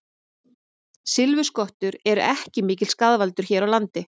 Silfurskottur eru ekki mikill skaðvaldur hér á landi.